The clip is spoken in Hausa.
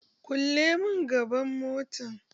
Kulle mun gaban mota